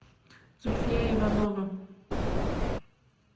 зульфия иванова